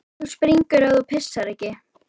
En þú springur ef þú pissar ekki.